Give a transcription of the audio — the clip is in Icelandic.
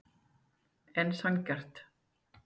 En sanngjarnt?